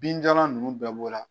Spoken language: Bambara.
Binjalan nunnu bɛɛ b'o la